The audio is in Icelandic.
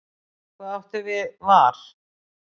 Hvað áttu við var?